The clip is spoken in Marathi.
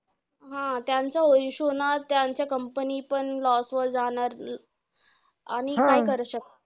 हा! त्यांचा issue होणार, त्यांच्या company पण loss वर जाणार अं आणि काय शकतो.